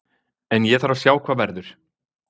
En ég þarf að sjá hvað verður.